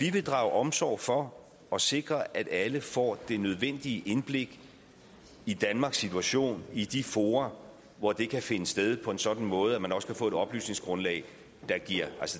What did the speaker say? vil drage omsorg for og sikre at alle får det nødvendige indblik i danmarks situation i de fora hvor det kan finde sted på en sådan måde at man også kan få et oplysningsgrundlag